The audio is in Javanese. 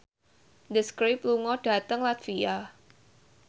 The Script lunga dhateng latvia